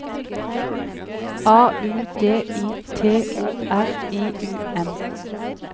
A U D I T O R I U M